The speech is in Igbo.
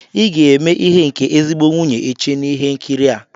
Ị ga-eme ihe nke ezigbo nwunye echi n'ihe nkiri a!